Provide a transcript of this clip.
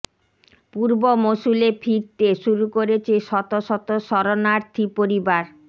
পূর্ব মসুলে ফিরতে শুরু করেছে শত শত শরণার্থী পরিবার